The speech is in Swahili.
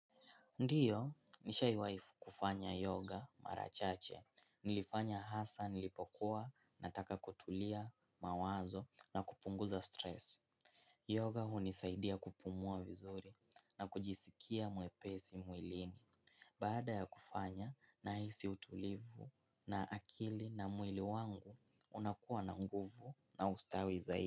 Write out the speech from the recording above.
Ndiyo, nishaiwai kufanya yoga mara chache. Nilifanya hasa nilipokuwa nataka kutulia mawazo na kupunguza stress. Yoga hunisaidia kupumua vizuri na kujisikia mwepesi mwilini. Baada ya kufanya, nahisi utulivu na akili na mwili wangu unakuwa na nguvu na ustawi zaidi.